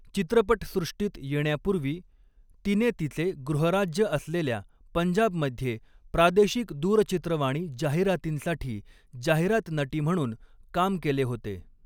चित्रपटसृष्टीत येण्यापूर्वी तिने तिचे गृहराज्य असलेल्या पंजाबमध्ये प्रादेशिक दूरचित्रवाणी जाहिरातींसाठी जाहिरात नटी म्हणून काम केले होते.